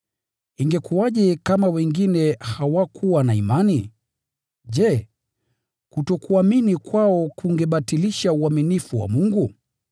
Ingekuwaje kama wengine hawakuwa na imani? Je, kutokuamini kwao kungebatilisha uaminifu wa Mungu?